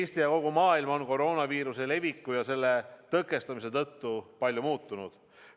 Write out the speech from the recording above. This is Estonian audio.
Eesti ja kogu maailm on koroonaviiruse leviku ja selle tõkestamise tõttu palju muutunud.